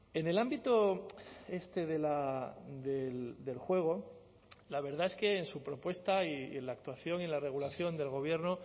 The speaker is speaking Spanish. en el ámbito este del juego la verdad es que en su propuesta y en la actuación y en la regulación del gobierno